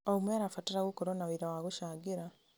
O ũmwe arabatara gũkorwo na wĩra wa gũcangĩra.